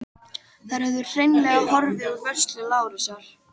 Þær höfðu hreinlega horfið úr vörslu Lárusar.